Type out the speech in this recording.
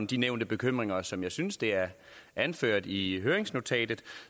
de nævnte bekymringer som jeg synes det er anført i høringsnotatet